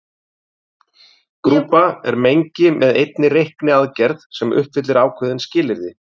Grúpa er mengi með einni reikniaðgerð sem uppfyllir ákveðin skilyrði.